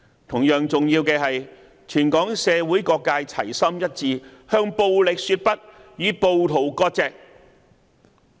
同樣重要的是，全港社會各界齊心一致向暴力說不，與暴徒割席。